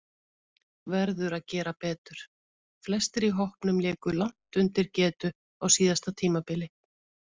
Verður að gera betur: Flestir í hópnum léku langt undir getu á síðasta tímabili.